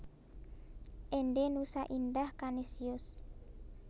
Ende Nusa Indah Kanisius